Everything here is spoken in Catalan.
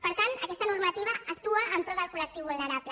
per tant aquesta normativa actua en pro del col·lectiu vulnerable